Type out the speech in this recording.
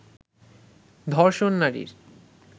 ধর্ষণ নারীর